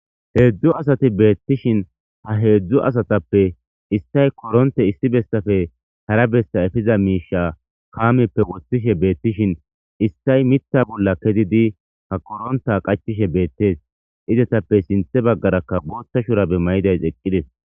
3 asat beetishn ha 3 asatappe issay koronte issi bessape hara besa epiza misha kameppe wothishe beetishn issay Mitha bolla kezid ha koronta qachishe betes izetape sinthe bagaraka bootha shurabe maydays eqides.